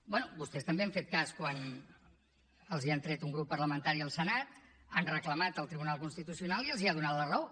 bé vostès també han fet cas quan els han tret un grup parlamentari al senat han reclamat al tribunal constitucional i els ha donat la raó